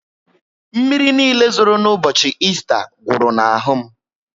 Mmírí niile zoro ụbọchị Ésta gwuru na ahụ m